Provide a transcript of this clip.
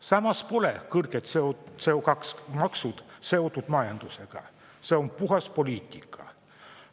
Samas pole kõrged CO2-maksud seotud majandusega, see on puhas poliitika.